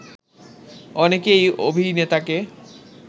অনেকে এই অভিনেতাকে